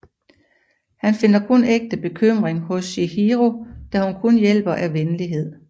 Han finder kun ægte bekymring hos Chihiro da hun kun hjælper af venlighed